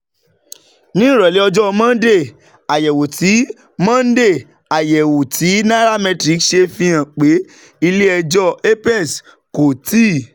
Ní ìrọ̀lẹ́ ọjọ́ Monday, àyẹ̀wò tí Monday, àyẹ̀wò tí nairametrics ṣe fi hàn pé ilé ẹjọ́ apex kò tíì